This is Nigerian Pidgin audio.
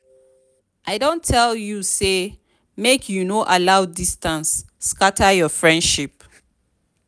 i don tell you sey make you no allow distance scatter your friendship.